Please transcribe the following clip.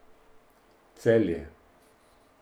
Celje.